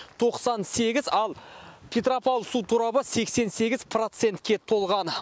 тоқсан сегіз ал петропавл су торабы сексен сегіз процентке толған